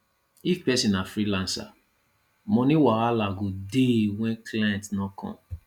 if person na freelancer money wahala go dey when client no come